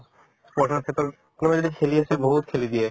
প্ৰথমৰ ক্ষেত্ৰত কোনোবাই যদি খেলি আছে বহুত খেলি দিয়ে